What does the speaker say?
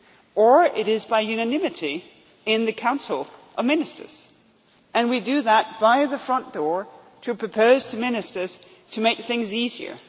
with or it is by unanimity in the Council of Ministers, and we do that by the front door to propose to ministers to make things easier.